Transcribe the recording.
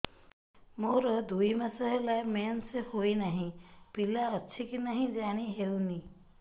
ମୋର ଦୁଇ ମାସ ହେଲା ମେନ୍ସେସ ହୋଇ ନାହିଁ ପିଲା ଅଛି କି ନାହିଁ ଜାଣି ହେଉନି